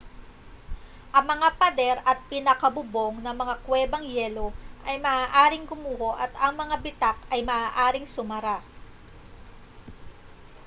ang mga pader at pinakabubong ng mga kwebang yelo ay maaaring gumuho at ang mga bitak ay maaaring sumara